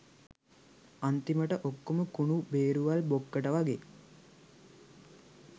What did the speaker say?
අන්තිමට ඔක්කොම කුණු බේරුවල් බොක්කට වගෙ